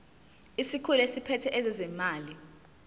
isikhulu esiphethe ezezimali